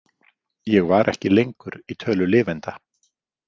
Ég var ekki lengur í tölu lifenda.